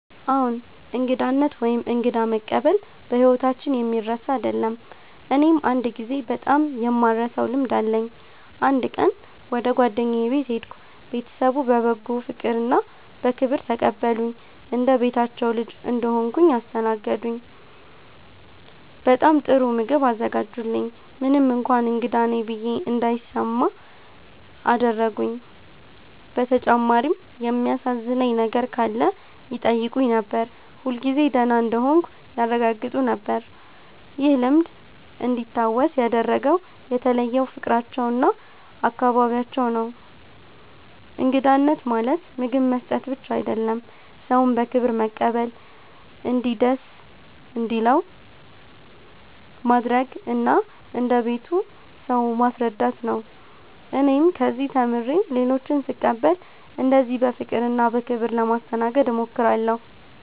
አዎን፣ እንግዳነት ወይም እንግዳ መቀበል በሕይወታችን የሚረሳ አይደለም። እኔም አንድ ጊዜ በጣም የማልረሳውን ልምድ አለኝ። አንድ ቀን ወደ ጓደኛዬ ቤት ሄድሁ። ቤተሰቡ በበጎ ፍቅርና በክብር ተቀበሉኝ። እንደ ቤታቸው ልጅ እንደሆንሁ አስተናገዱኝ፤ በጣም ጥሩ ምግብ አዘጋጁልኝ፣ ምንም እንኳን እንግዳ ነኝ ብዬ እንዳይሰማ አደረጉኝ። በተጨማሪም የሚያሳዝነኝ ነገር ካለ ይጠይቁኝ ነበር፣ ሁልጊዜ ደህና እንደሆንሁ ያረጋግጡ ነበር። ይህ ልምድ እንዲታወስ ያደረገው የተለየው ፍቅራቸውና እንክብካቤያቸው ነው። እንግዳነት ማለት ምግብ መስጠት ብቻ አይደለም፤ ሰውን በክብር መቀበል፣ እንዲደስ እንዲለው ማድረግ እና እንደ ቤቱ ሰው ማስረዳት ነው። እኔም ከዚህ ተምሬ ሌሎችን ስቀበል እንደዚህ በፍቅርና በክብር ለማስተናገድ እሞክራለሁ።